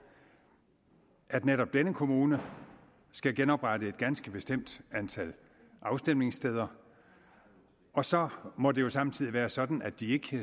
at netop denne kommune skal genoprette et ganske bestemt antal afstemningssteder og så må det jo samtidig være sådan at de